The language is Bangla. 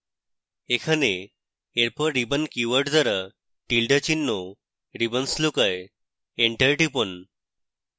এখানে এরপর ribbon keyword দ্বারা tilda চিহ্ন ribbons লুকোয় এন্টার টিপুন